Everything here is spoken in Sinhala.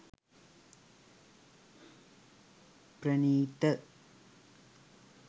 pranitha